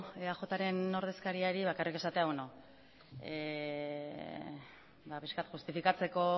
eajren ordezkariari bakarrik esatea pixka justifikatzeko